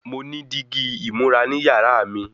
Mo ní dígí ìmúra ní yàrá mi